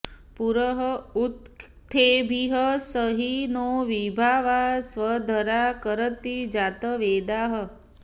पुर उक्थेभिः स हि नो विभावा स्वध्वरा करति जातवेदाः